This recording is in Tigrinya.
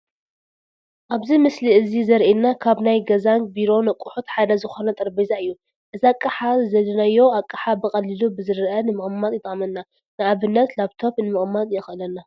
ኣብዚ ምስሊ እዚ ዘሪኤና ካብ ናይ ገዛን ቢሮን ኣቕሑት ሓደ ዝኾነ ጠረጼዛ እዩ፡፡ እዚ ኣቕሓ ዝደለናዩ ኣቕሓ ብቐሊሉ ብዝርአ ንምቕማጥ ይጠቕመና፡፡ ንኣብነት ላብቶኘ ንምቕማጥ የኽእለና፡፡